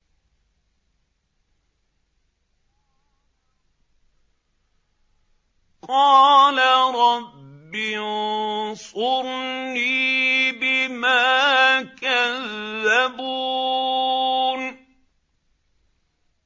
قَالَ رَبِّ انصُرْنِي بِمَا كَذَّبُونِ